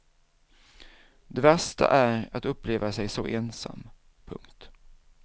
Det värsta är att uppleva sig så ensam. punkt